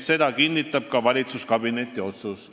Seda kinnitab ka valitsuskabineti otsus.